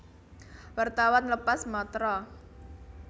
Wartawan lepas Matra